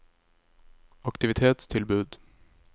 aktivitetstilbud